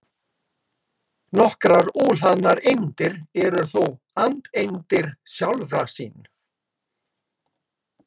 Nokkrar óhlaðnar eindir eru þó andeindir sjálfra sín.